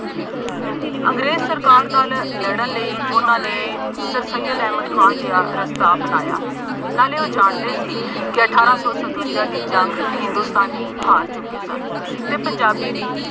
ਅੰਗਰੇਜ਼ ਸਰਕਾਰ ਨਾਲ ਲੜ੍ਹਨ ਲਈ ਉਹਨਾ ਨੇ ਸਰਸਈਅਦ ਅਹਿਮਦ ਖਾਨ ਜਿਹਾ ਰਸਤਾ ਅਪਣਾਇਆ, ਨਾਲੇ ਉਹ ਜਾਣਦੇ ਸੀ ਕਿ ਅਠਾਰਾਂ ਸੌ ਸਤਵੰਜ਼ਾ ਦੀ ਜੰਗ ਹਿੰਦੁਸਤਾਨੀ ਹਾਰ ਚੁੱਕੇ ਸਨ ਅਤੇ ਪੰਜਾਬੀ ਵਿੱਚ